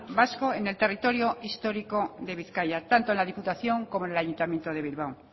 vasco en el territorio histórico de bizkaia tanto en la diputación como en el ayuntamiento de bilbao